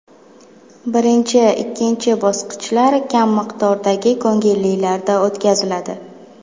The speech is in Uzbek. Birinchi, ikkinchi bosqichlar kam miqdordagi ko‘ngillilarda o‘tkaziladi.